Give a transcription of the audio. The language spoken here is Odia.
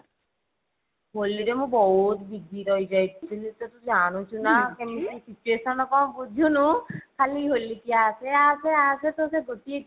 ହୋଲି ରେ ମୁଁ ବହୁତ busy ରହିଯାଇଥିଲି ତ ତୁ ଜାନୁଛୁ ନା situation କଣ ବୁଝୁନୁ ଖାଲି ହୋଲି କୁ ଆସେ ଆସେ ତୋର ସେଇ ଗୋଟିଏ ଜିଦି